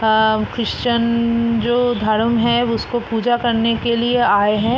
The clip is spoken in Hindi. अ क्रिश्चियन जो धर्म है उसकी पूजा करने के लिए आए हैं।